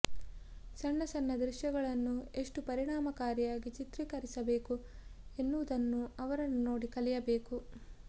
ಸಣ್ಣ ಸಣ್ಣ ದೃಶ್ಯಗಳನ್ನೂ ಎಷ್ಟು ಪರಿಣಾಮಕಾರಿಯಾಗಿ ಚಿತ್ರೀಕರಿಸಬೇಕು ಎನ್ನುವುದನ್ನು ಅವರನ್ನು ನೋಡಿ ಕಲಿಯಬೇಕು